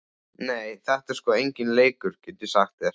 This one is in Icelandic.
Nei, þetta er sko enginn leikur, get ég sagt þér.